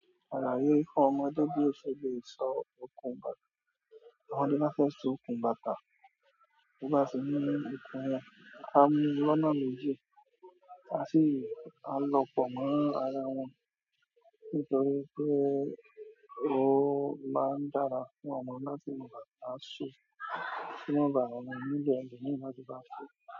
Àlàyé fún ọmọdé bí ó ṣe lè sọ okùn bàtà. Ọmọ to ba fẹ́ sọ okùn bàtà, bí o bá tì ní ìkun won, a máa mú loná méjì, a sì, áa lo pọ̀ mọ́ ara wọn nítorí pé ó máa ń dára fún ọmọ náà tí à sú. Ko ma baa ma nílò elomi láti baa so.